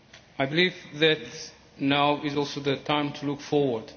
I believe that now is also the time to look forward.